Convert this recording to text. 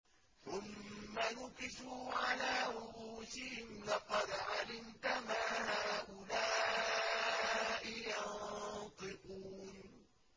ثُمَّ نُكِسُوا عَلَىٰ رُءُوسِهِمْ لَقَدْ عَلِمْتَ مَا هَٰؤُلَاءِ يَنطِقُونَ